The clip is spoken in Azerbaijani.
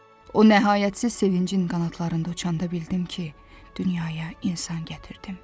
O nəhayətsiz sevincin qanadlarında uçanda bildim ki, dünyaya insan gətirdim.